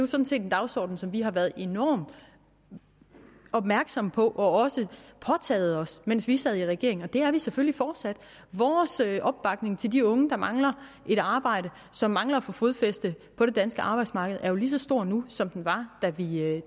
set en dagsorden som vi har været enormt opmærksomme på og også påtaget os mens vi sad i regering og det er vi selvfølgelig fortsat vores opbakning til de unge der mangler et arbejde som mangler at få fodfæste på det danske arbejdsmarked er jo lige så stor nu som den var